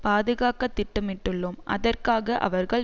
பாதுகாக்க திட்டமிட்டுள்ளோம் அதற்காக அவர்கள்